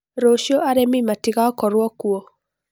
Rũciũ arimũ matigakorũo kuo.